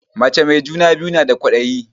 Mace mai juna biyu na da kwadayi